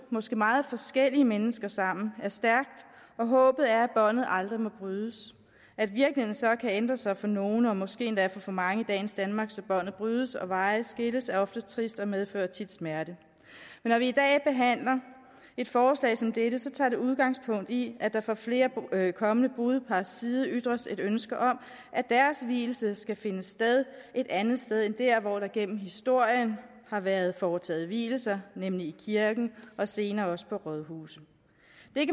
måske meget forskellige mennesker sammen er stærkt og håbet er at båndet aldrig må brydes at virkeligheden så kan ændre sig for nogle og måske endda for for mange i dagens danmark så båndet brydes og veje skilles er ofte trist og medfører tit smerte men når vi i dag behandler et forslag som dette tager det udgangspunkt i at der fra flere kommende brudepars side ytres et ønske om at deres vielse skal finde sted et andet sted end dér hvor der gennem historien har været foretaget vielser nemlig i kirken og senere også på rådhuset